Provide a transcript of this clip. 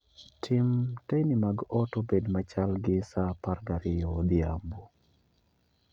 Tim teyni mag ot obed machal gi saa apar gi ariyo odhiambo